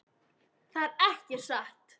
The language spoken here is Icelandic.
Það er ekki satt.